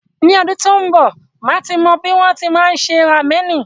Ni ọdún tí ń b, màá ti mọ bí wọn ti máa ń se ramẹ̀nì.